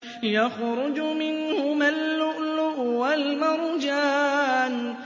يَخْرُجُ مِنْهُمَا اللُّؤْلُؤُ وَالْمَرْجَانُ